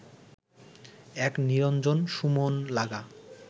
এক নিরঞ্জন সু মন লাগা